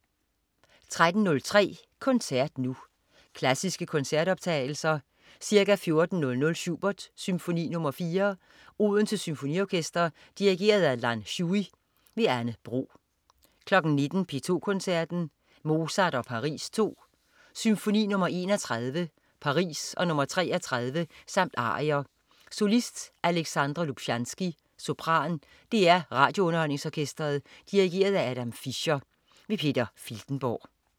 13.03 Koncert Nu. Klassiske koncertoptagelser. Ca. 14.00 Schubert: Symfoni nr. 4. Odense Symfoniorkester. Dirigent: Lan Shui. Anne Bro 19.00 P2 Koncerten. Mozart og Paris (II). Symfoni nr. 31 Paris og nr. 33 samt arier. Solist: Alexandra Lubchansky, sopran. DR RadioUnderholdningsOrkestret. Dirigent: Adam Fischer. Peter Filtenborg